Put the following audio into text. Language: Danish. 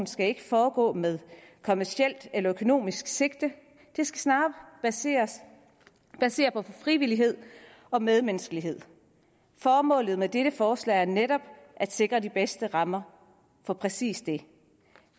skal ikke foregå med kommercielt eller økonomisk sigte det skal snarere baseres på frivillighed og medmenneskelighed formålet med dette forslag er netop at sikre de bedste rammer for præcis det